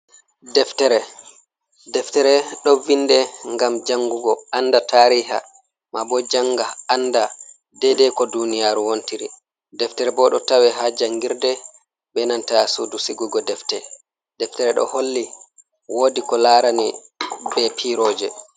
Deftere. Deftere ɗo vinde ngam jangugo anda tariha, ma bo janga anda dedei ko duniyaru wontiri. Deftere bo ɗo tawe haa jangirɗe be nanta sudu sigugo deftere. Deftere ɗo holli woodi ko laarani be piiroje.